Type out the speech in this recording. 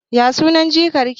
Ya sunan jikar ki?